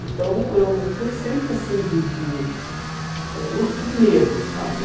Então, eu fui sempre assim de de eh... Nunca tive medo, sabe? Ah